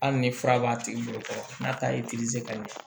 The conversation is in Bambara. Hali ni fura b'a tigi bolo fɔlɔ n'a ta ye kaliyan